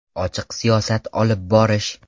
Ochiq siyosat olib borish.